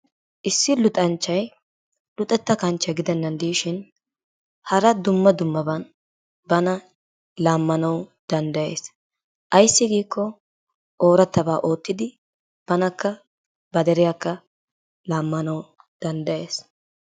Issi luxanchchay luxxettaa kanchchiyaa gidennan diishin hara dumma dummaban bana laammanwu danddayees. ayssi giikko oorattabaa oottido baanakka ba deriyaakka laammanwu danddayees.